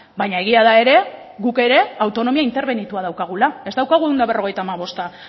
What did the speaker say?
baina egia da ere guk ere autonomia interbenitua daukagula ez daukagu ehun eta berrogeita hamabosta